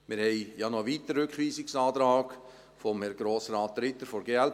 Wir haben ja noch einen weiteren Rückweisungsantrag: jenen von Herrn Grossrat Ritter von der glp.